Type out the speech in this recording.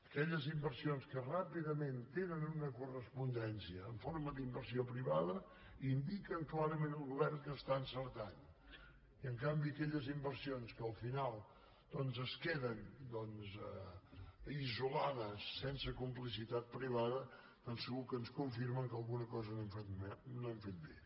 aquelles inversions que ràpidament tenen una correspondència en forma d’inversió privada indiquen clarament al govern que està encertant i en canvi aquelles inversions que al final doncs es queden isolades sense complicitat privada segur que ens confirmen que alguna cosa no hem fet bé